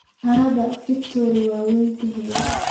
Harada Victoria way weyn tahay.